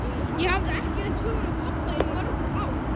Ég hafði ekki leitt hugann að pabba í mörg ár.